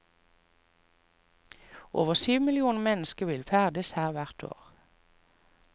Over syv millioner mennesker vil ferdes her hvert år.